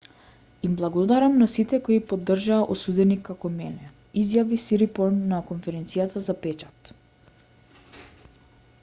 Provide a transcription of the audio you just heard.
им благодарам на сите кои поддржаа осуденик како мене изјави сирипорн на конференцијата за печат